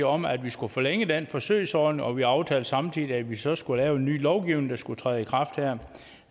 om at vi skulle forlænge den forsøgsordning og vi aftalte samtidig at vi så skulle lave en ny lovgivning der skulle træde i kraft her